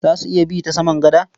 Za su iya bi ta saman gada?